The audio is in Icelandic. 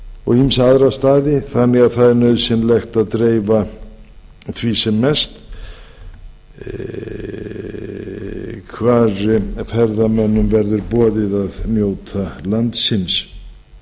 og ýmsa aðra staði þannig að það er nauðsynlegt að dreifa því sem mest hvar ferðamönnum verður boðið að njóta landsins